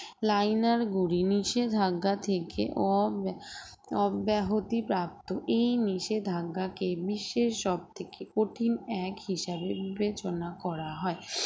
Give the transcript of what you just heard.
liner গুলি নিষেধাজ্ঞা থেকে অব~ অব্যাহতিপ্রাপ্ত এই নিষেধাজ্ঞাকে বিশ্বের সবথেকে কঠিন act হিসাবে বিবেচনা করা হয়